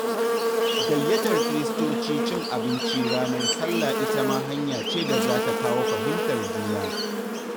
Gayyatar Kiristoci cin abinci ranar Sallah ita ma hanya ce da za ta kawo fahimtar juna.